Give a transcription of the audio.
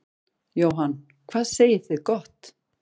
Jóhann: Hvað segið þið gott.